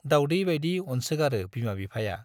दाउडै बाइदि अनसोगारो बिमा बिफाया।